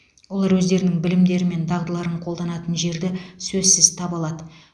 олар өздерінің білімдері мен дағдыларын қолданатын жерді сөзсіз таба алады